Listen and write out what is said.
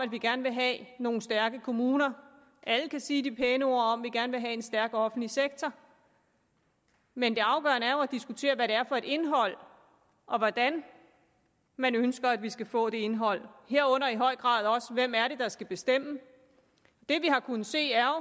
at vi gerne vil have nogle stærke kommuner alle kan sige de pæne ord om at vi gerne vil have en stærk offentlig sektor men det afgørende er jo at diskutere hvad det er for et indhold og hvordan man ønsker at vi skal få det indhold herunder i høj grad også hvem det er der skal bestemme det vi har kunnet se er